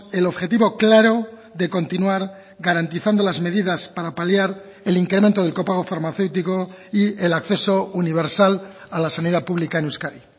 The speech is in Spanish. el objetivo claro de continuar garantizando las medidas para paliar el incremento del copago farmacéutico y el acceso universal a la sanidad pública en euskadi